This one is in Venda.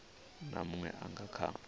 na munwe a nga kha